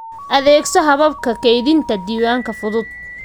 Adeegso hababka kaydinta diiwaanka fudud.